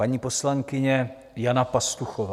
Paní poslankyně Jana Pastuchová.